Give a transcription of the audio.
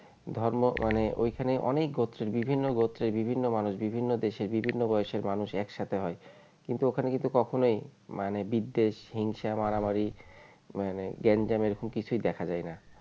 ধর্ম মানে ওইখানে অনেক গোত্রের বিভিন্ন গোত্রের বিভিন্ন মানুষ বিভিন্ন দেশের বিভিন্ন বয়সের মানুষ একসাথে হয় কিন্তু ওখানে কিন্তু কখনোই মানে বিদ্বেষ হিংসা মারামারি মানে গ্যাঞ্জাম এরকম কিছুই দেখা যায় না